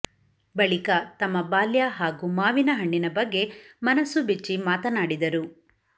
ಬಳಿಕ ತಮ್ಮ ಬಾಲ್ಯ ಹಾಗೂ ಮಾವಿನ ಹಣ್ಣಿನ ಬಗ್ಗೆ ಮನಸು ಬಿಚ್ಚಿ ಮಾತನಾಡಿದರು